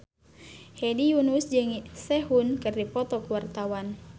Hedi Yunus jeung Sehun keur dipoto ku wartawan